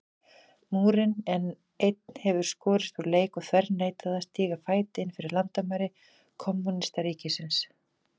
Múrinn, en einn hefði skorist úr leik og þverneitað að stíga fæti innfyrir landamæri kommúnistaríkis.